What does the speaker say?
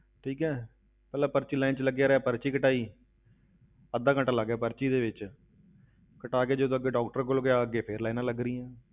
ਠੀਕ ਹੈ, ਪਹਿਲਾਂ ਪਰਚੀ line ਵਿੱਚ ਲੱਗਿਆ ਰਿਹਾ ਪਰਚੀ ਕਟਵਾਈ ਅੱਧਾ ਘੰਟਾ ਲੱਗ ਗਿਆ ਪਰਚੀ ਦੇ ਵਿੱਚ ਕਟਵਾਕੇ ਜਦੋਂ ਅੱਗੇ doctor ਕੋਲ ਗਿਆ, ਅੱਗੇ ਫਿਰ lines ਲੱਗ ਰਹੀਆਂ।